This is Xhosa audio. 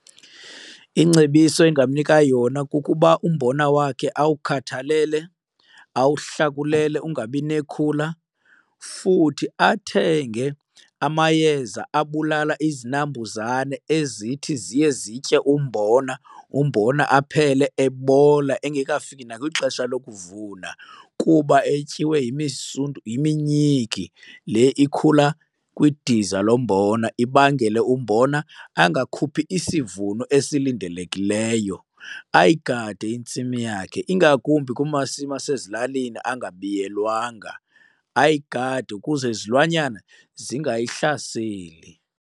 Ingcebiso engamnika yona kukuba umbona wakhe awukhathalele, awuhlakulele ungabi nekhula. Futhi athenge amayeza abulala izinambuzane ezithi ziye zitye umbona, umbona aphele ebola engekafiki nakwixesha lokuvuna kuba etyiwa yiminyiki le ikhula kwidiza lombona ibangele umbona angakhuphi isivuno esilindelekileyo. Ayigade intsimi yakhe, ingakumbi kumasimi asezilalini angabiyelwanga, ayigade ukuze izilwanyana zingayihlaseli.